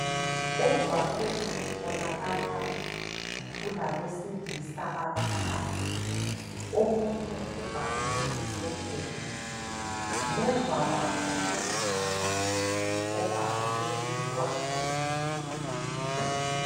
Emgwaqweni kubonakala kulabesilisa abathathu omunye ubhabhule isetsheli ngemva kwabo kulomama obhabhule umntwana